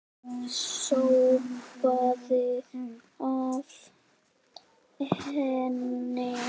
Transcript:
Það sópaði af henni.